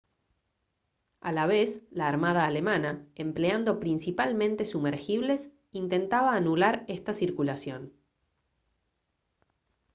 a la vez la armada alemana empleando principalmente sumergibles intentaba anular esta circulación